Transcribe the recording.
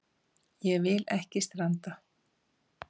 Ég vil ekki stranda.